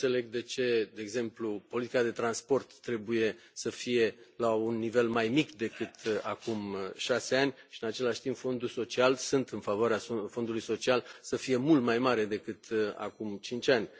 Nu înțeleg de ce, de exemplu, politica de transport trebuie să fie la un nivel mai mic decât acum șase ani și, în același timp, Fondul social sunt în favoarea Fondului social să fie mult mai mare decât acum cinci ani.